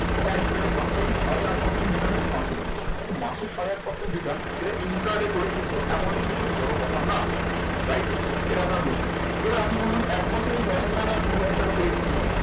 এখন তাহলে এটা ভাগ করি, সাড়ে আট percent return হচ্ছে মাসিক ব্যবস্থা। তো মাসে সাড়ে আট percent return, এটা income কিন্তু এমন কিছু বড়ো কথা না। right? এটা আপনারা বুঝলেন। এবার আপনি বলবেন, এক বছরে এই দশ হাজার টাকাটা কুড়ি হাজার করে কি হবে?